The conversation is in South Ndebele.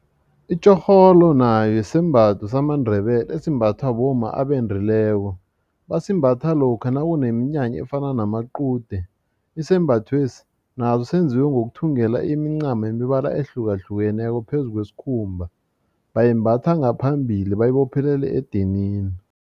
Itjhorholo nayo sisembatho samaNdebele esimbathwa bomma abendileko basimbatha lokha nakuneminyanya efana namaqude isembathwesi naso senziwe ngokuthungelwa imincamo yemibala ehlukahlukeneko phezu kwesikhumba bayimbatha ngaphambili bayibophelele edinini.